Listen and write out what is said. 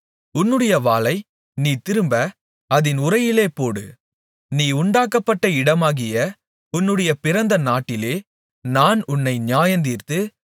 உன்னுடைய வாளை நீ திரும்ப அதின் உறையிலே போடு நீ உண்டாக்கப்பட்ட இடமாகிய உன்னுடைய பிறந்த நாட்டிலே நான் உன்னை நியாயந்தீர்த்து